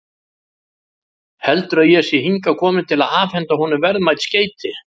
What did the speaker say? Heldur að ég sé hingað kominn til að afhenda honum verðmæt skeyti.